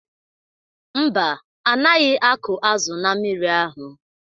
Mba, anaghị akụ azụ na mmiri ahụ.